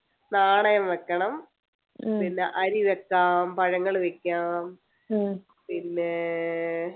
നാണയം വെക്കണം പിന്നെ അരി വെക്കാം പഴങ്ങള് വെക്കാം പിന്നെ